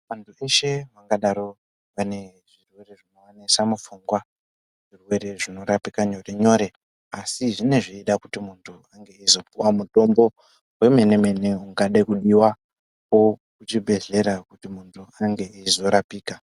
Antu eshe angadaro ane zvirwere zvingaanesa mupfungwa zvirwere zvinorapika nyore nyore . Asi zvinenge zveida kuti muntu ange izopuwa mutombo wemene mene ungade kudiwa kuzvibhedhlera kuti muntu ange eizorapika.